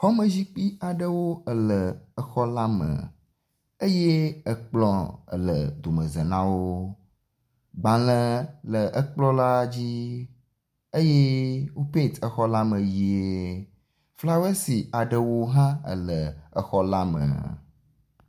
Xɔme zikpui aɖewo le exɔ la me eye ekplɔ le domeza na wo. Agbalẽ le ekplɔ la dzi eye wo pent exɔ la me ʋɛ̃e. flawɔsi aɖewo hã le exɔ la me.